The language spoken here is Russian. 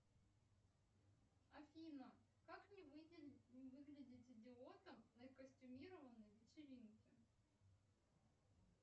афина как не выглядеть идиотом на костюмированной вечеринке